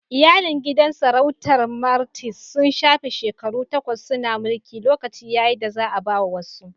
Iyalin gidan sarautar Martins sun shafe shekaru takwas suna mulki, lokaci ya yi da za'a ba wasu.